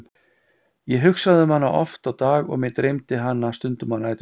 Ég hugsaði um hana oft á dag og mig dreymdi hana stundum á næturnar.